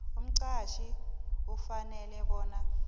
umqhatjhi ufanele bona